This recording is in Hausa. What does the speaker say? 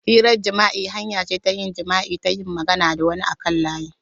Hirar jima'i hanya ce ta yin jima'i ta yin magana da wani a kan layi.